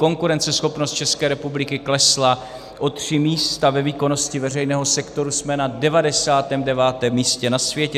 Konkurenceschopnost České republiky klesla o tři místa, ve výkonnosti veřejného sektoru jsme na 99. místě na světě.